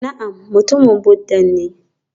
Na'am mutumin Buddha ne